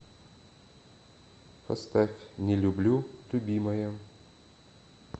поставь не люблю любимая